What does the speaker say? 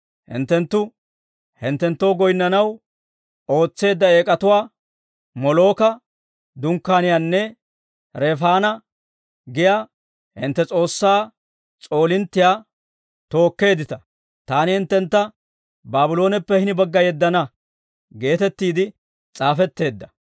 Hinttenttu hinttenttoo goyinnanaw ootseedda eek'atuwaa, Molooka dunkkaaniyaanne Refaana giyaa hintte s'oossaa s'oolinttiyaa tookkeeddita. Taani hinttentta Baablooneppe hini bagga yeddana› geetettiide s'aafetteedda.